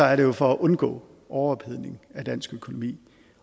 er det for at undgå overophedning af dansk økonomi